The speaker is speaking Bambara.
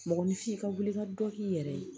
Mɔgɔninfin ka wuli ka dɔ k'i yɛrɛ ye